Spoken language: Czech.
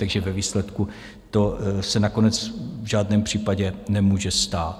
Takže ve výsledku to se nakonec v žádném případě nemůže stát.